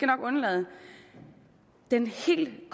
nok undlade den helt